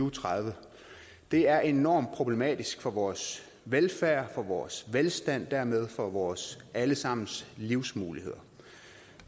og tredive det er enormt problematisk for vores velfærd for vores velstand og dermed for vores alle sammens livsmuligheder